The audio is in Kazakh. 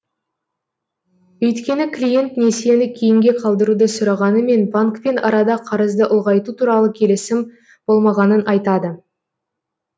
өйткені клиент несиені кейінге қалдыруды сұрағанымен банкпен арада қарызды ұлғайту туралы келісім болмағанын айтады